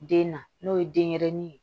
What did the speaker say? Den na n'o ye denɲɛrɛnin ye